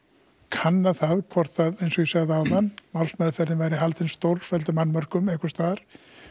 kanna það hvort að eins og ég sagði áðan málsmeðferðin væri haldin stórkostlegum annmörkum einhvers staðar